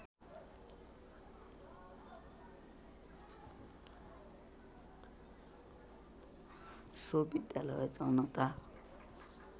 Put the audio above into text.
so विद्यालय जनता